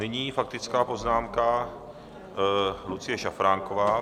Nyní faktická poznámka - Lucie Šafránková.